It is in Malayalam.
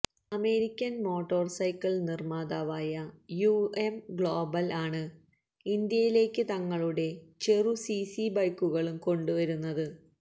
അമേരിക്കന് മോട്ടോര്സൈക്കിള് നിര്മാതാവായ യുഎം ഗ്ലോബല് ആണ് ഇന്ത്യയിലേക്ക് തങ്ങളുടെ ചെറു സിസി ബൈക്കുകളും കൊണ്ട് വരുന്നത്